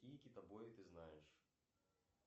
какие китобои ты знаешь